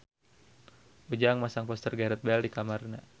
Ujang masang poster Gareth Bale di kamarna